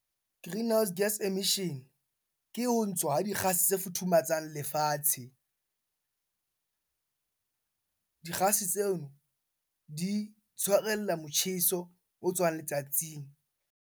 Greenhouse gas emission, ke ho ntshwa ha dikgase tse futhumatsang lefatshe. Dikgase tseno di tshwarella motjheso o tswang letsatsing.